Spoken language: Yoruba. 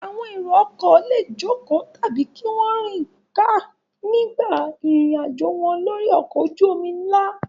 Àwọn èrò-ọkọ̀ le jókòó tàbí kí wọ́n rìn ká nígbà ìrìnàjò wọn lórí ọkọ̀ ojú-omi ńlá.